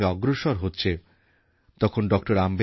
বিশ্ব অর্থনীতিতে ভারতের অবস্থান এক উজ্জ্বল নক্ষত্রের মত